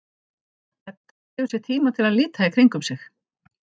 Edda gefur sér tíma til að líta í kringum sig.